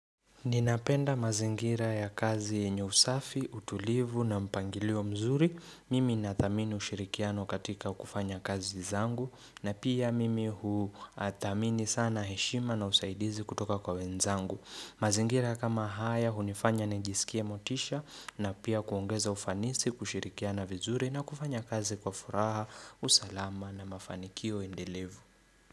Ninapenda mazingira ya kazi yenye usafi, utulivu na mpangilio mzuri. Mimi ninathamini ushirikiano katika kufanya kazi zangu na pia mimi huthamini sana heshima na usaidizi kutoka kwa wenzangu. Mazingira kama haya hunifanya nijisikie motisha na pia kuongeza ufanisi, kushirikiana vizuri na kufanya kazi kwa furaha, usalama na mafanikio endelevu.